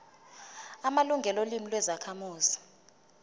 amalungelo olimi lwezakhamuzi